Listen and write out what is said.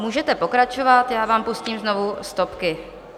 Můžete pokračovat, já vám pustím znovu stopky.